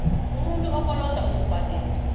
umuntu okoloda ukubhadela